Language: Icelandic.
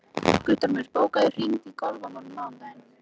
Guttormur, bókaðu hring í golf á mánudaginn.